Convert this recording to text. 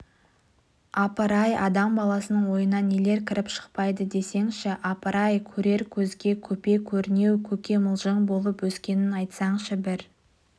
апыр-ай адам баласының ойына нелер кіріп-шықпайды десеңші апыр-ай көрер көзге көпе-көрнеу көкемылжың болып өскенін айтсаңшы бір